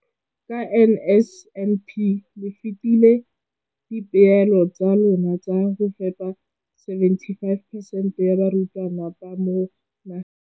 Ka NSNP le fetile dipeelo tsa lona tsa go fepa masome a supa le botlhano a diperesente ya barutwana ba mo nageng.